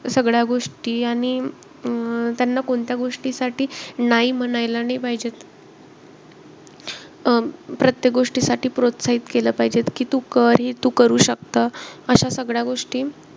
सगळ्या गोष्टी. आणि अं आणि त्यांना कोणत्या गोष्टीसाठी नाई म्हणायला नाई पाहिजे. अं प्रत्येक गोष्टीसाठी प्रोत्साहित केलं पाहिजेत की तू कर, तू हे करू शकतं. अशा सगळ्या गोष्टी,